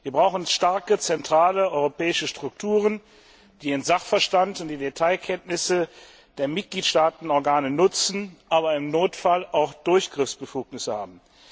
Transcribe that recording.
Wir brauchen starke zentrale europäische Strukturen, die den Sachverstand und die Detailkenntnisse der Mitgliedstaatenorgane nutzen, aber im Notfall auch Durchgriffsbefugnisse haben.